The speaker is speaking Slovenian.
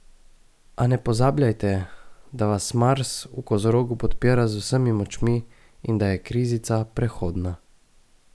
A ne pozabljajte, da vas Mars v kozorogu podpira z vsemi močmi in da je krizica prehodna!